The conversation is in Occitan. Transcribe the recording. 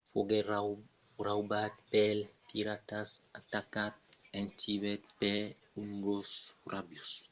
foguèt raubat pels piratas atacat en tibet per un gos rabiós escapèt a un maridatge en nepal e foguèt arrestat en índia